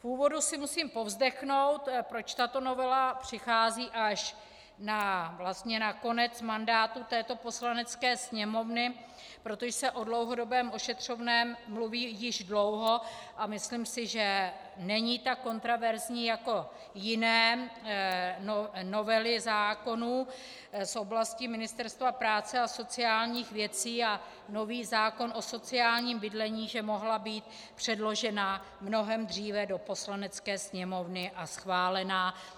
V úvodu si musím povzdechnout, proč tato novela přichází až na konec mandátu této Poslanecké sněmovny, protože se o dlouhodobém ošetřovném mluví již dlouho, a myslím si, že není tak kontroverzní jako jiné novely zákonů z oblasti Ministerstva práce a sociálních věcí a nový zákon o sociálním bydlení, že mohla být předložena mnohem dříve do Poslanecké sněmovny a schválena.